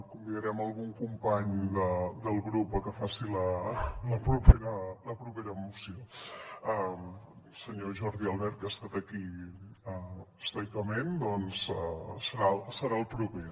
convidarem algun company del grup a que faci la propera moció el senyor jordi albert que ha estat aquí estoicament doncs serà el proper